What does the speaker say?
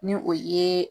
Ni o ye